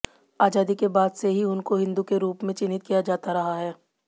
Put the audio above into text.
आजादी के बाद से ही उनको हिंदू के रूप में चिन्हित किया जाता रहा है